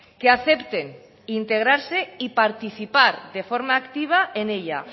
que acepten integrarse y participar de forma activa en ella